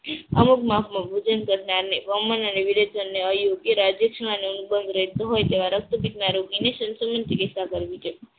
અમુક માપમાં ભોજન કરનારને વમન અને વિવેચન સેવા રક્તપિતના યોગીને